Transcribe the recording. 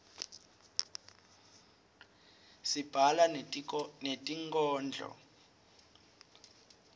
sibhala netinkhondlo